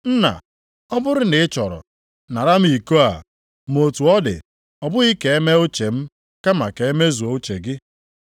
“Nna ọ bụrụ na ị chọrọ, nara m iko a, ma otu ọ dị, ọ bụghị ka e mee uche m, kama ka e mezuo uche gị.”